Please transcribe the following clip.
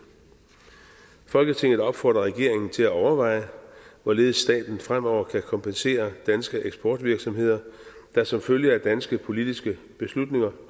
folketinget opfordrer regeringen til at overveje hvorledes staten fremover kan kompensere danske eksportvirksomheder der som følge af danske politiske beslutninger